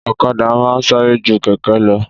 Ọ̀kadà ma n sáré ju kẹ̀kẹ́ lọ